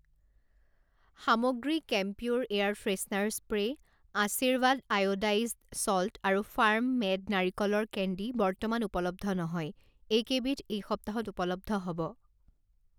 সামগ্ৰী camphor air freshener spray, Aashirvaad iodized salt আৰু farm made নাৰিকলৰ কেণ্ডী বৰ্তমান উপলব্ধ নহয়, এইকেইবিধ এই সপ্তাহত উপলব্ধ হ'ব।